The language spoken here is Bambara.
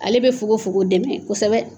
Ale bɛ fugofugo dɛmɛ kosɛbɛ